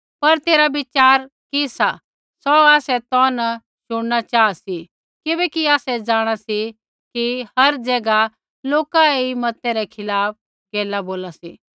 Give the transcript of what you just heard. पर तेरा विचार कि सा सौ आसै तौ न शुण न चाहा सी किबैकि आसै जाँणा सी कि हर ज़ैगा लोका ऐई मतै रै खिलाफ़ गैला बोला सी